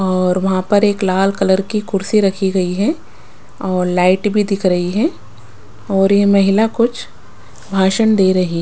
औरर वहाँ पर एक लाल कलर की कुर्सी रखी गई है और लाइट भी दिख रही है और ये महिला कुछ भाषण दे रही है।